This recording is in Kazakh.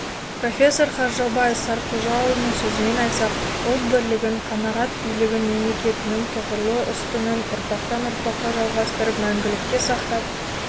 профессор қаржаубай сартқожаұлының сөзімен айтсақ ұлт бірлігін қағанат билігін мемлекетінің тұғырлы ұстынын ұрпақтан-ұрпаққа жалғастырып мәңгілікке сақтап